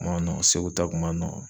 O man nɔgɔn, Segu ta kun man nɔgɔn.